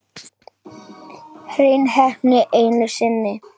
Hrein heppni einu sinni enn.